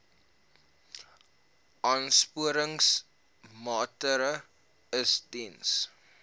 aansporingsmaatre ls diens